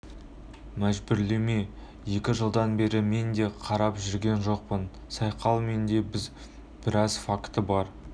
мжбүрлеме екі жылдан бері мен де қарап жүрген жоқпын сайқал мен де біраз факті бар